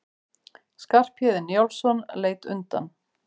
Skarphéðinn Njálsson leit undan.